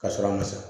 Ka sɔrɔ a ma sɔn